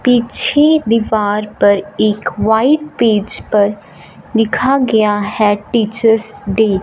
पीछे दीवार पर एक व्हाइट पेज पर लिखा गया है टीचर्स डे ।